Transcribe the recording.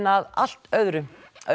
að allt öðru